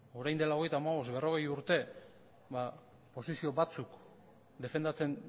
orain dela hogeita hamabost berrogei urte posizio batzuk defendatzen